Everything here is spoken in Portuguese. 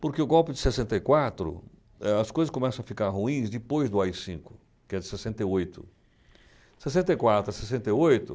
Porque o golpe de sessenta e quatro, eh, as coisas começam a ficar ruins depois do á i cinco, que é de sessenta e oito. Sessenta e quatro a sessenta e oito.